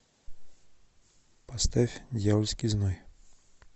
поставь дьявольский зной